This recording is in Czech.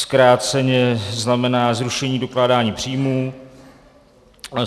Zkráceně znamená zrušení dokládání příjmů.